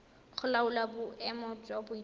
go laola boemo jwa boitshwaro